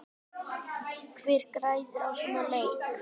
Hver græðir á svona leik?